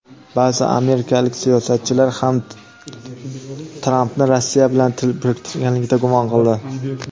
Ba’zi amerikalik siyosatchilar ham Trampni Rossiya bilan til biriktirganlikda gumon qildi.